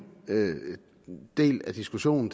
del af diskussionen